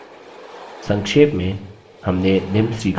संक्षेप में हमने निम्न सीखा हैः